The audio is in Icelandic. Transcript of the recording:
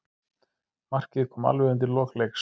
Markið kom alveg undir lok leiks.